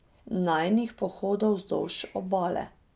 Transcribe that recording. Najinih pohodov vzdolž obale.